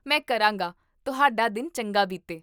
ਮੈਂ ਕਰਾਂਗਾ ਤੁਹਾਡਾ ਦਿਨ ਚੰਗਾ ਬੀਤੇ